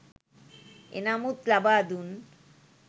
එනමුත් ලබා දුන්